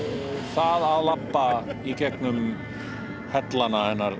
það að labba í gegnum hellana hennar